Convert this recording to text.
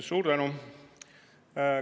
Suur tänu!